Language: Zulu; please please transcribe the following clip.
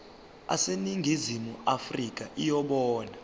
aseningizimu afrika yibona